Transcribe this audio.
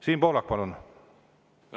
Siim Pohlak, palun!